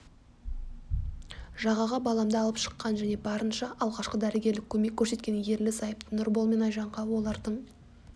жағаға баламды алып шыққан және барынша алғашқы дәрігерлік көмек көрсеткен ерлі-зайыпты нұрбол мен айжанға олардың